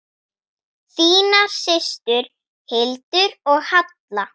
Þínar systur, Hildur og Halla.